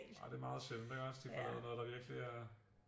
Nej det er meget sjældent ikke også de får lavet noget der virkeligt er